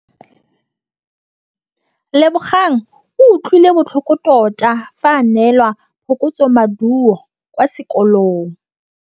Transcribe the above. Lebogang o utlwile botlhoko tota fa a neelwa phokotsômaduô kwa sekolong.